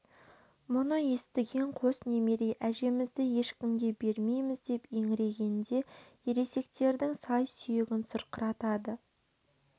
мұны естіген қос немере әжемізді ешкімге бермейміз деп еңіргенде ересектердің сай-сүйегін сырқыратады